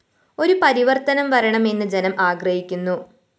ഒരു പരിവര്‍ത്തനം വരണമെന്ന്‌ ജനം ആഗ്രഹിക്കുന്നു